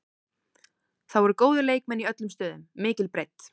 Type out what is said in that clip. Það voru góðir leikmenn í öllum stöðum, mikil breidd.